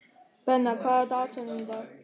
Benna, hvað er á dagatalinu í dag?